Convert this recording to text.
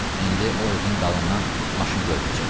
İndi o evin dalından maşın görünəcək.